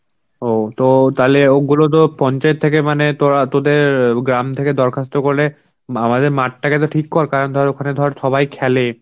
ও তো তাহলে ওগুলো তো পঞ্চায়েত থেকে মানে তোরা তোদের অ্যাঁ গ্রাম থেকে দরখাস্ত করলে আমাদের মাঠটাকে তো ঠিক কর কারণ ধর ওখানে ধর সবাই খেলে.